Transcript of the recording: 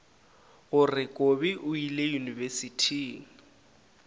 gore kobi o ile yunibesithing